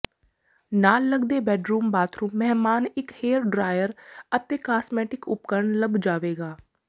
ਨਾਲ ਲੱਗਦੇ bedroom bathroom ਮਹਿਮਾਨ ਇੱਕ ਹੇਅਰ ਡਰਾਇਰ ਅਤੇ ਕਾਸਮੈਟਿਕ ਉਪਕਰਣ ਲੱਭ ਜਾਵੇਗਾ